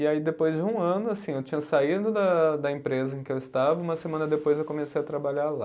E aí, depois de um ano, assim, eu tinha saído da da empresa em que eu estava, uma semana depois eu comecei a trabalhar lá.